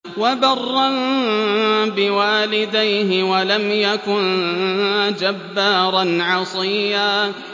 وَبَرًّا بِوَالِدَيْهِ وَلَمْ يَكُن جَبَّارًا عَصِيًّا